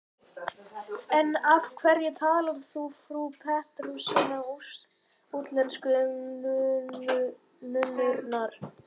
En af hverju talar þá frú Pettersson útlensku, og nunnurnar?